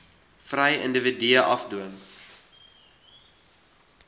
vry individue afdwing